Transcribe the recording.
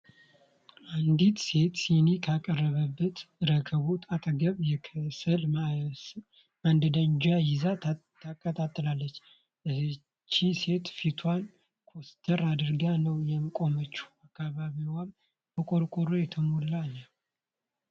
አንዲት ሴት ሲኒ ከቀረበበት ረከቦት አጠገብ የከሰል ማንደጃ ይዛ ታቀጣጥላለች። እህቺ ሴት ፊቷን ኮስተር አድርጋ ነው የቆመችው። አካባቢዋም በቆርቆሮ የተሞላ ነው።